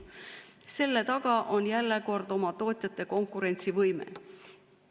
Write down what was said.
Selle taga on jälle oma tootjate konkurentsivõime.